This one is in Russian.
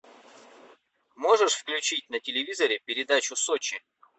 можешь включить на телевизоре передачу сочи